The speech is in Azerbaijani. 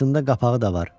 Altında qapağı da var.